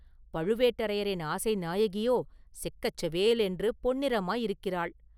பழுவேட்டரையரின் ஆசை நாயகியோ செக்கச் செவேலென்று பொன்னிறமாயிருக்கிறாள்.